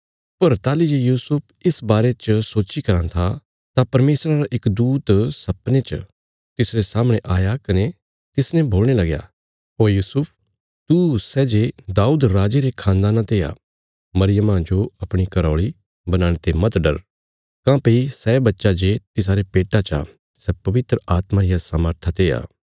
पर ताहली जे यूसुफ इस बारे च सोच्ची कराँ था तां परमेशरा रा इक दूत सपने च तिसरे सामणे आया कने तिसने बोलणे लगया ओ यूसुफ तू सै जे दाऊद राजे रे खानदाना ते आ मरियमा जो अपणी घरा औल़ी बनाणे ते मत डर काँह्भई सै बच्चा जे तिसारे पेट्टा चा सै पवित्र आत्मा रिया सामर्था ते आ